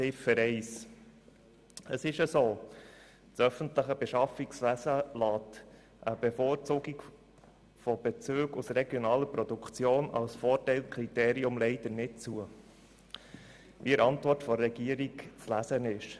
Zu Ziffer 1: Es trifft zu, dass das öffentliche Beschaffungswesen eine Bevorzugung von Bezügen aus regionaler Produktion als Vorteilkriterium leider nicht zulässt, wie dies in der Antwort der Regierung zu lesen ist.